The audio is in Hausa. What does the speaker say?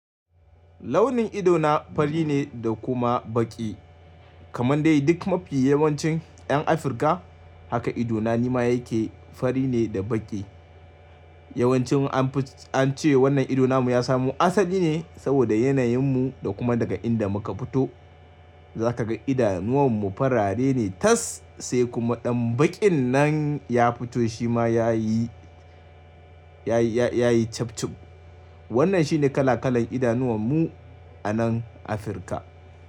Launin ido na fari ne da kuma baƙi kamar dai duk mafi yawancin 'yan Afirka. Haka ido na nima yake fari ne da baƙi. Yawancin an ce wannan ido na mu ya samu asali ne saboda yanayin mu da kuma daga inda muka fito. Za ka ga idanuwan mu farare ne tas sai kuma ɗan baƙin nan ya fito shi ma ya yi, ya yi, ya yi cif cif. Wannan shine kala kalan idanuwan mu a nan Afirka.